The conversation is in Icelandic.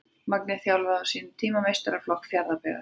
Magni þjálfaði á sínum tíma meistaraflokk Fjarðabyggðar.